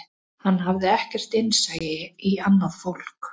Hann hafði ekkert innsæi í annað fólk